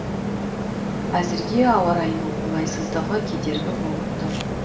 әзірге ауа райының қолайсыздығы кедергі болып тұр